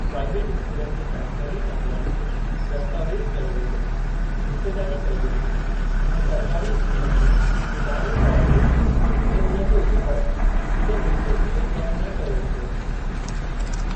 Private स्कूलनि जे बहितरीनु अमलनि खे दस्तावेज़ कयो वेंदो, हिसेदारी कई वेंदी, ऐं सरकारी स्कूलनि में इदारे तौर ते, ऐं उन जे उबि॒तड़, जिते मुमकिनु हुजे कम न कयो वेंदो।